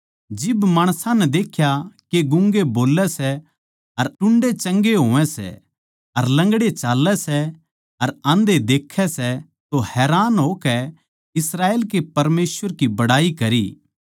जिब माणसां नै देख्या के गूँगे बोल्लै सै अर टुंडे चंगे होवै सै अर लंगड़े चाल्लै सै अर आंधे देखै सै तो हैरान होकै इस्राएल के परमेसवर की बड़ाई करी